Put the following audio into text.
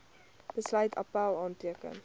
besluit appèl aanteken